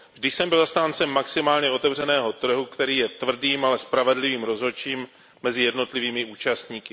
Vždy jsem byl zastáncem maximálně otevřeného trhu, který je tvrdým, ale spravedlivým rozhodčím mezi jednotlivými účastníky.